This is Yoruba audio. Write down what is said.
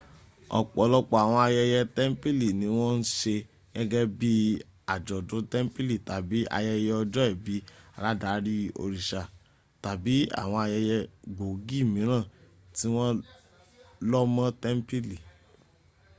ọ̀pọ̀lọpọ àwọn ayẹyẹ tẹ̀ḿpìlì ni wọ́n ń se gẹ́gẹ́ bí i àjọ̀dú tẹ́m̀pìlì tàbí ayẹyẹ ọjọ́ ìbí aládarí òriṣà tàbí àwọn ayẹyẹ gbòógì míràn tí wọ́n lọ́ mọ́ tẹ́ḿpìlì